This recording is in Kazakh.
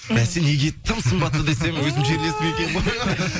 бәсе неге тым сымбатты десем өзімнің жерлесім екен ғой